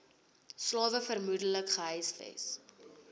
slawe vermoedelik gehuisves